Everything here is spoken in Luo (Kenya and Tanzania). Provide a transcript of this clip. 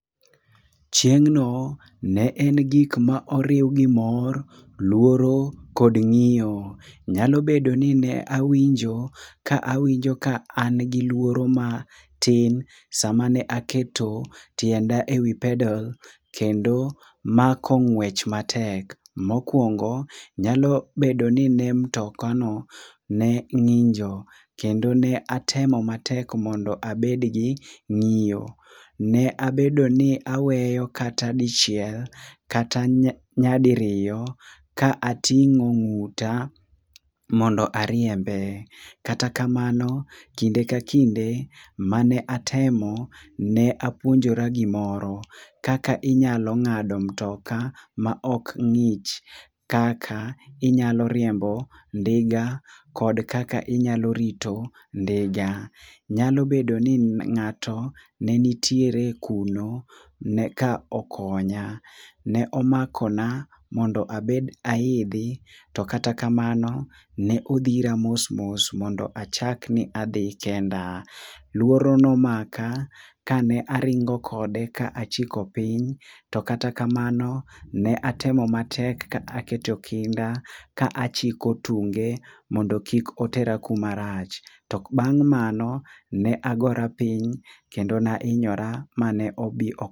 Chieng'no ne en gik ma oriw gi mor, luoro kod ng'iyo. Nyalo bedo ni ne awinjo ka awinjo ni an gi luoro matin sama ne aketo tienda ewi peddle kendo mako ng'wech matek. Mokuongo, nyalo bedo ni ne mutokano ne ng'injo kendo ne atemo matek mondo abed gi ng'iyo. Ne abedo ni aweyo kata dichiel kata nyadiriyo ka ating'o ng'uta mondo ariembe. Kata kamano, kinde ka kinde mane atemo, ne apuonjora gimoro. Kaka inyalo ng'ado mutoka maok ng'ich, kaka inyalo riembo ndiga kod kaka inyalo rito ndiga. Nyalo bedo ni ng'ato ne nitiere kuno, ne eka okonya. Ne omakona mondo abed aidhi, to kata kamano ne odhira mos mos mondo achak ni adhi kenda. To kata kamano, luoro ne omaka kane aringo kode kane achiko piny, to kata kamano, ne atemo matek ka aketo kinda ka achiko tunge mondo kik otera kuma rach. To bang' mano ne agora piny, kendo ne ahinyora mane obi ok